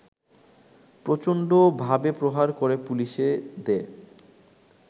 প্রচণ্ডভাবেপ্রহার করে পুলিশে দেয়